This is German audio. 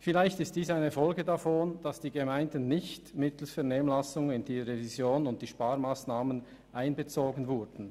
Vielleicht ist dies eine Folge davon, dass die Gemeinden nicht mittels Vernehmlassung in die Revision und die Sparmassnahmen einbezogen wurden.